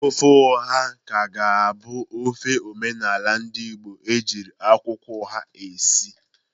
Ofe oha ka ga-abụ ofe omenala ndị Igbo ejiri akwụkwọ oha esi.